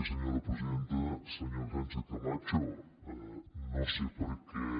senyora sánchez camacho no sé per què